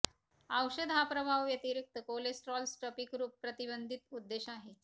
औषध हा प्रभाव व्यतिरिक्त कोलेस्ट्रॉल स्फटिकरुप प्रतिबंधित उद्देश आहे